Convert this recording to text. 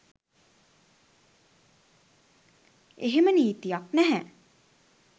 එහෙම නීතියක් නැහැ